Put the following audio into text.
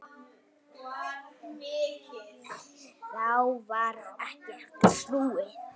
Þá varð ekki aftur snúið.